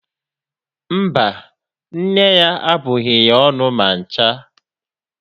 Mba, nne ya abụghị ya ọnụ ma ncha.